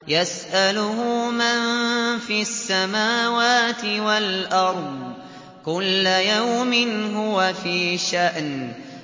يَسْأَلُهُ مَن فِي السَّمَاوَاتِ وَالْأَرْضِ ۚ كُلَّ يَوْمٍ هُوَ فِي شَأْنٍ